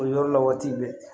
O yɔrɔ la waati bɛɛ